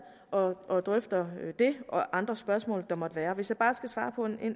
og og drøfter det og de andre spørgsmål der måtte være hvis jeg bare skal svare på et